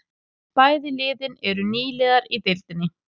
Bæði liðin eru nýliðar í deildinni